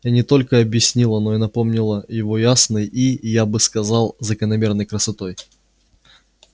и не только объяснила но и напомнила его ясной и я бы сказал закономерной красотой